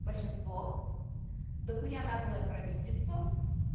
большинство дохуя наглое правительство